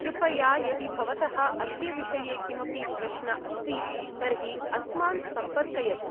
कृपया यदि भवतः अस्य विषये किमपि प्रश्न अस्ति, तर्हि अस्मान् सम्पर्कयतु।